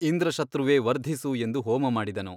ಇಂದ್ರ ಶತ್ರುವೇ ವರ್ಧಿಸು ಎಂದು ಹೋಮಮಾಡಿದನು.